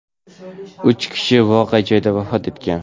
Uch kishi voqea joyida vafot etgan.